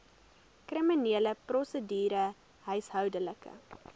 kriminele prosedure huishoudelike